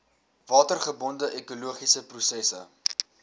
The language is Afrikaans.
watergebonde ekologiese prosesse